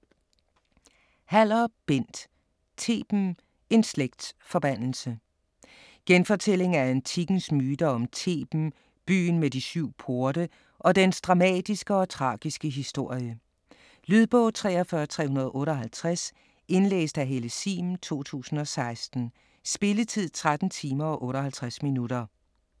Haller, Bent: Theben: en slægts forbandelse Genfortælling af antikkens myter om Theben, byen med de syv porte, og dens dramatiske og tragiske historie. Lydbog 43358 Indlæst af Helle Sihm, 2016. Spilletid: 13 timer, 58 minutter.